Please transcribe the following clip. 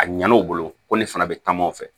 A ɲana u bolo ko ne fana bɛ taamaw fɛ